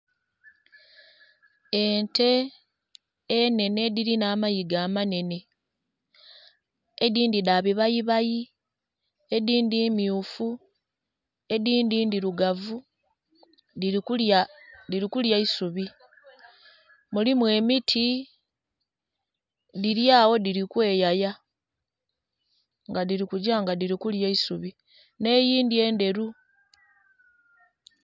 Ente enhenhe edhilina amaiga amanenhe edindhi dha bibayibayi, edindhi mmyufu, edindhi ndhirugavu dhili kulya isubi. Mulimu emiti dhilyagho dhili kwe yaya nga dhili kugya nga dhili kulya isubi nhe eyindhi endheru.